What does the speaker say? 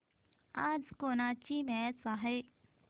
आज कोणाची मॅच आहे